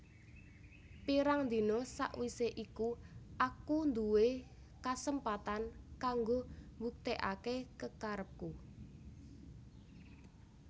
Pirang dina sawisé iku aku duwé kasempatan kanggo mbuktèkaké kekarepku